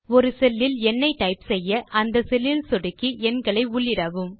ஒரு செல் இல் எண்ணை டைப் செய்ய அந்த செல் இல் சொடுக்கி எண்களை உள்ளிடவும்